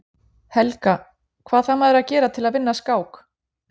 Helga: Hvað þarf maður að gera til að vinna skák?